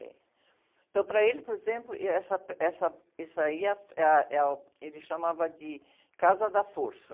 Tem. Então, para ele, por exemplo, êh, essa, essa, esse aí é a, é a, uh, ele chamava de casa da força.